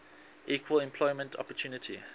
equal employment opportunity